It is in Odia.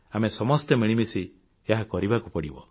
ଆମେ ସମସ୍ତେ ମିଳିମିଶି ଏହା କରିବାକୁ ପଡ଼ିବ